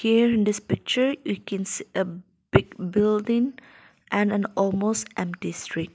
here in this picture we can see a big building and almost empty street.